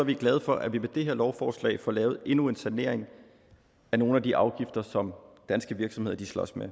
vi glade for at vi med det her lovforslag får lavet endnu en sanering af nogle af de afgifter som danske virksomheder slås med